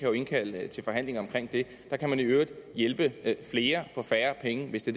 jo indkalde til forhandlinger om det der kan man i øvrigt hjælpe flere for færre penge hvis det